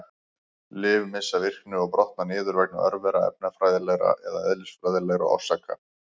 Lyf missa virkni og brotna niður vegna örvera, efnafræðilegra eða eðlisfræðilegra orsaka.